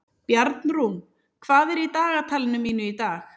Bjarnrún, hvað er í dagatalinu mínu í dag?